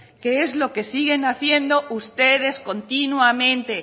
que es lo que siguen haciendo ustedes continuamente